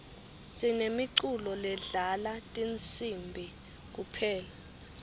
sinemiculo ledlala tinsibi kuphela